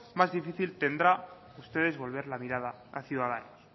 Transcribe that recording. más difícil tendrán ustedes volver la mirada a ciudadanos